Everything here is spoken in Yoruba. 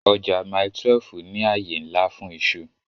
Ọjà Mile 12 ní àyè ńlá fún iṣu